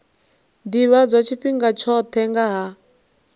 ḓivhadzwa tshifhinga tshoṱhe nga ha